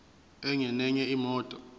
enye nenye imoto